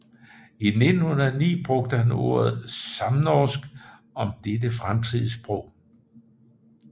I 1909 brugte han ordet samnorsk om dette fremtidssprog